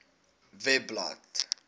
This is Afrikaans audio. webblad